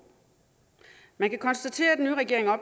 man kan konstatere at den nye regering er